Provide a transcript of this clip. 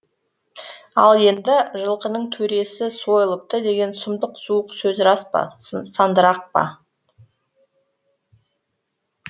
ал енді жылқының төресі сойылыпты деген сұмдық суық сөз рас па сандырақ па